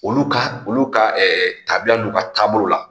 Olu ka olu ka tabiya n'u ka taabolo la